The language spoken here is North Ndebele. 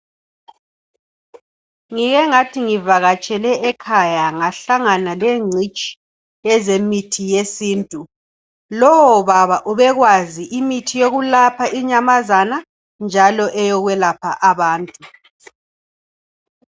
Ngike ngathi ngivakatshele ekhaya ngahlangana lengcitshi yezemithi yesintu. Lowo baba ubekwazi imithi yokulapha inyamazana njalo eyokwelapha abantu.